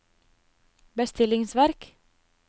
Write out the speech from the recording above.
bestillingsverk